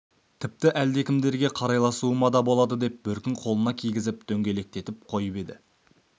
тіпті әлдекімдерге қарайласуыма да болады деп бөркін қолына кигізіп дөңгелетіп қойып еді